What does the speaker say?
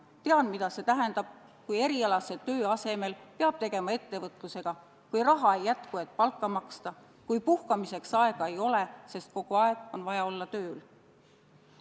Tean, mida see tähendab, kui erialase töö asemel peab tegelema ettevõtlusega, kui raha ei jätku, et palka maksta, kui puhkamiseks aega ei ole, sest kogu aeg on vaja olla tööl.